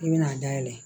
I bɛna dayɛlɛ